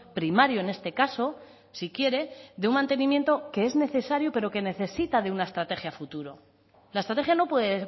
primario en este caso si quiere de un mantenimiento que es necesario pero que necesita de una estrategia futuro la estrategia no puede